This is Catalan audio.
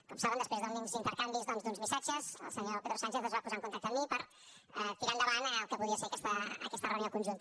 com saben després d’uns intercanvis doncs d’uns missatges el senyor pedro sánchez es va posar en contacte amb mi per tirar endavant el que podia ser aquesta reunió conjunta